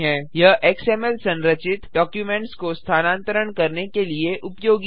यह एक्सएमएल संरचित डॉक्युमेंट्स को स्थानांतरण करने के लिए उपयोगी है